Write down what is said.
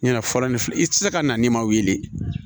Ɲina fɔlɔ ni i ti se ka na n'i ma wili